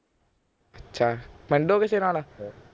ਅੱਛਾ ਪਿੰਡੋਂ ਕਿਸੇ ਨਾਲ